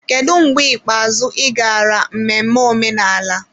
Kedu mgbe ikpeazụ ị gara mmemme omenala.